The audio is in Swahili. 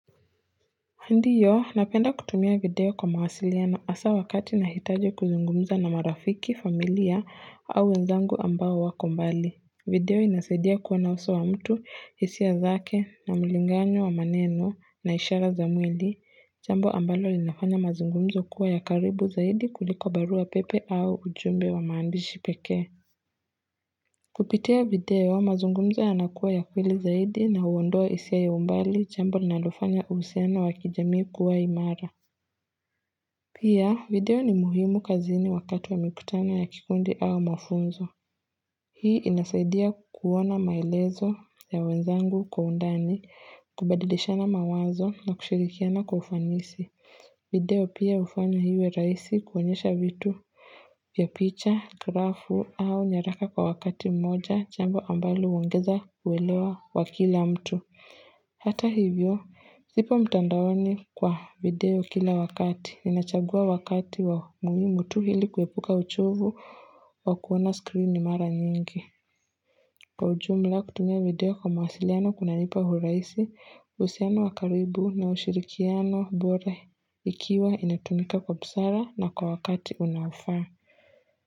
Ndiyo, napenda kutumia video kwa mawasiliano hasaa wakati nahitaji kuzungumza na marafiki, familia, au wenzangu ambao wako mbali. Video inasaidia kuwa na uso wa mtu, hisia zake, na mulingano wa maneno, na ishara za mwili. Jambo ambalo linafanya mazungumzo kuwa ya karibu zaidi kuliko barua pepe au ujumbe wa maandishi pekee. Kupitia video, mazungumzo yanakuwa ya kweli zaidi na huondoa hisia ya umbali jambo linalofanya uhusiano wa kijamii kuwa imara. Pia, video ni muhimu kazini wakati wa mikutana ya kikundi au mafunzo. Hii inasaidia kuona maelezo ya wenzangu kwa undani, kubadilishana mawazo na kushirikiana kwa ufanisi. Video pia hufanyo iwe rahisi kuonyesha vitu vya picha, grafu au nyaraka kwa wakati mmoja jambo ambalo huongeza uelewa wa kila mtu. Hata hivyo, zipo mtandaoni kwa video kila wakati. Ninachagua wakati wa mtu ili kuepuka uchovu wa kuona screen ni mara nyingi. Kwa ujumla kutumia video kwa mawasiliano kunanipa urahisi uhusiano wa karibu na ushirikiano bora ikiwa inatumika kwa busara na kwa wakati unaofaa.